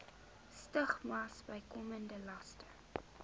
stigmas bykomende laste